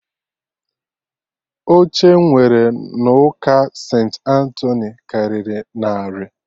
Oche E nwere n'ụka St.Antoni karịrị narị